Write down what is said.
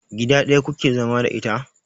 Gida ɗaya kuke zama da ita?